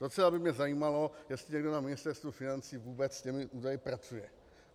Docela by mě zajímalo, jestli někdo na Ministerstvu financí vůbec s těmi údaji pracuje.